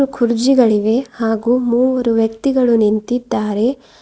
ಕುರ್ಚಿಗಳಿವೆ ಹಾಗು ಮೂವರು ವ್ಯಕ್ತಿಗಳು ನಿಂತಿದ್ದಾರೆ.